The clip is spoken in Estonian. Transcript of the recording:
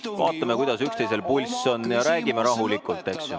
Istume, vaatame, kuidas üksteisel pulss on ja räägime rahulikult, eks ju.